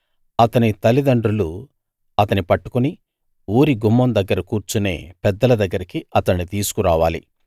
అతని తలిదండ్రులు అతని పట్టుకుని ఊరి గుమ్మం దగ్గర కూర్చునే పెద్దల దగ్గరికి అతణ్ణి తీసుకురావాలి